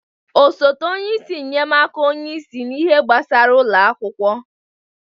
Osote onye isi nnyemaaka onye isi n'ihe gbasara ụlọ akwụkwọ.